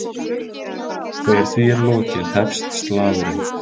Þegar því er lokið hefst slagurinn.